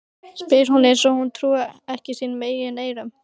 spyr hún eins og hún trúi ekki sínum eigin eyrum.